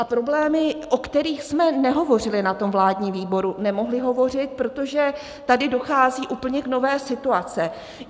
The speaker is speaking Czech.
A problémy, o kterých jsme nehovořili na tom vládním výboru; nemohli hovořit, protože tady dochází k úplně nové situaci.